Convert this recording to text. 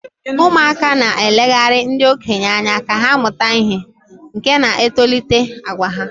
ụmụaka na-elegara ndị okenye anya ka ha mụta ihe, nke na-etolite àgwà ha